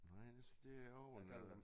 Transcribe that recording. Nej det det også en øh